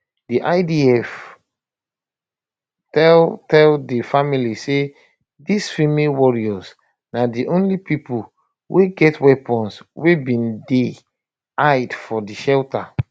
di idf tell tell di familes say dis female warriors na di only pipo wey get weapons wey bin dey hide for di shelter